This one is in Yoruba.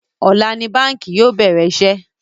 Ọ̀la ni báńkì yóò bẹ̀rẹ̀ iṣẹ́